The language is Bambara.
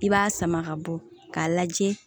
I b'a sama ka bɔ k'a lajɛ